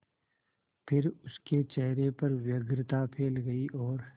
फिर उसके चेहरे पर व्यग्रता फैल गई और